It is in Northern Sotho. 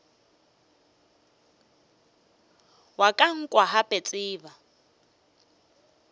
wa ka nkwa gape ntseba